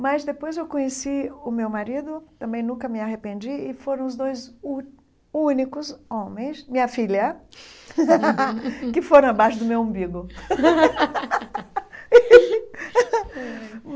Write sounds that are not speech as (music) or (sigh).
Mas depois eu conheci o meu marido, também nunca me arrependi e foram os dois uh únicos homens, minha filha, (laughs) que foram abaixo do meu umbigo. (laughs)